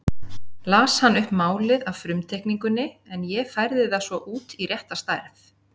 Las hann upp málið af frumteikningunni en ég færði það svo út í rétta stærð.